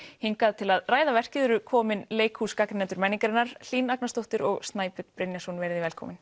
hingað til að ræða verkið eru komin leikhúsgagnrýnendur menningarinnar Hlín Agnarsdóttir og Snæbjörn Brynjarsson verið velkomin